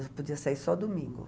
Eu podia sair só domingo.